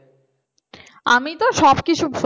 আমি তো সব কিছু